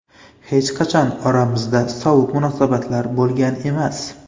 Hech qachon oramizda sovuq munosabatlar bo‘lgan emas.